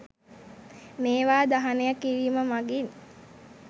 මේවා දහනය කිරීම මගින්